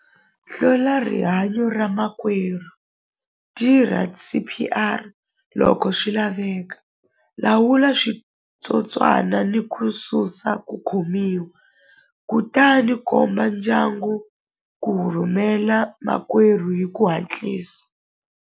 Hlwela rihanyo ra makwerhu tirha S_P_R loko swi laveka lawula switsotswana ni ku susa ku khomiwa kutani komba ndyangu ku rhumela makwerhu hi ku hatlisa.